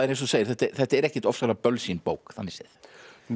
segir þetta þetta er ekkert ofsalega bölsýn bók þannig séð nei